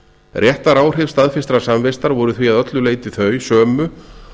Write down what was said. réttaráhrif staðfestrar samvistar voru því að öllu leyti þau sömu